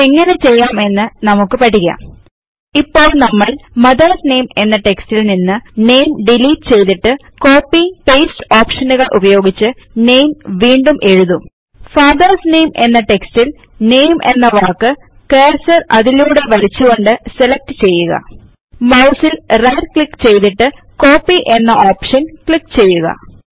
ഇതെങ്ങനെ ചെയ്യാം എന്ന് നമുക്ക് പഠിക്കാം ഇപ്പോൾ നമ്മൾ മദർസ് നാമെ എന്ന റ്റെക്സ്റ്റിൽ നിന്ന് നാമെ ഡിലീറ്റ് ചെയ്തിട്ട് കോപ്പിപേസ്റ്റ് ഓപ്ഷനുകൾ ഉപയോഗിച്ച് നാമെ വീണ്ടും എഴുതും ഫാദർസ് നാമെ എന്ന റ്റെക്സ്റ്റിൽ നാമെ എന്ന വാക്ക് കർസർ അതിലൂടെ വലിച്ചുകൊണ്ട് സെലക്ട് ചെയ്യുക മൌസിൽ റൈറ്റ് ക്ലിക്ക് ചെയ്തിട്ട് Copyഎന്ന ഓപ്ഷൻ ക്ലിക്ക് ചെയ്യുക